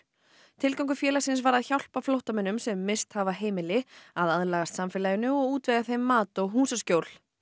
tilgangur félagsins var að hjálpa flóttamönnum sem misst hafa heimili að aðlagast samfélaginu og útvega þeim mat og húsaskjól